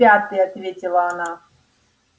в пятый ответила она